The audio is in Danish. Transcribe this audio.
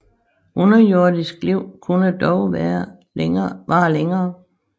Underjordisk liv kunne dog vare længere